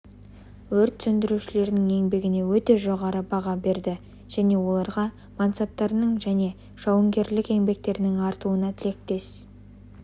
өрт сөндірушілерінің еңбегіне өте жоғары баға берді және оларға мансаптарының және жауынгерлік еңбектерінің артуына тілектес